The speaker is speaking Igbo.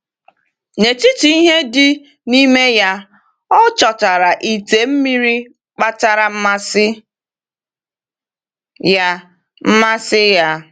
N’etiti ihe dị n’ime ya, o chọtara ite mmiri kpatara mmasị ya. mmasị ya.